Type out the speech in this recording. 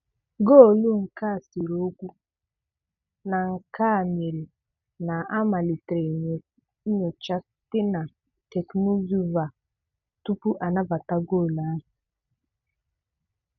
Goolu nke a sere ókwú na nke a mere na a malitere nnyocha site na Teknụzụ VAR tupu a nabata goolu ahụ.